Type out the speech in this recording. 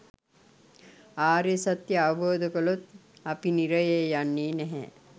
ආර්ය සත්‍යය අවබෝධ කළොත් අපි නිරයේ යන්නේ නෑ.